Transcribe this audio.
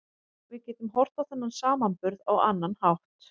Við getum horft á þennan samburð á annan hátt.